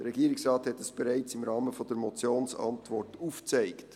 Der Regierungsrat hat dies bereits im Rahmen der Motionsantwort aufgezeigt.